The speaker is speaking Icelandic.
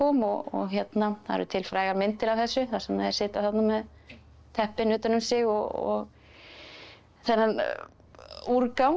og það eru til frægar myndir af þessu þar sem þeir sitja með teppin utan um sig og þennan úrgang á